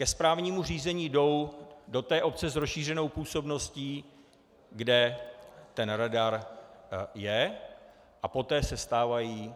Ke správnímu řízení jdou do té obce s rozšířenou působností, kde ten radar je, a poté se stávají